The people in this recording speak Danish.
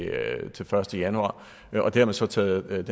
første januar og det har man så taget